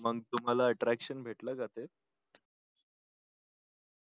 मग तुम्हाला attraction भेटलं का ते